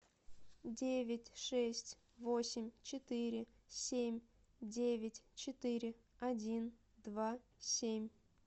девять шесть восемь четыре семь девять четыре один два семь